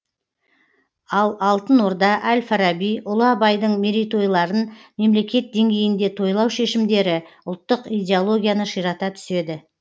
ал алтын орда әл фараби ұлы абайдың мерейтойларын мемлекет деңгейінде тойлау шешімдері ұлттық идеологияны ширата түседі